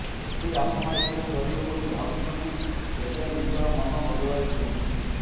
ଯଦି ଆପଣ ଏପରି କରିବେ ବୋଲି ଭାବୁଛନ୍ତି ତେବେ ନିଜର ମନ ବଦଳାଇ ଦିଅନ୍ତୁ